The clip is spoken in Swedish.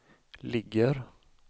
ligger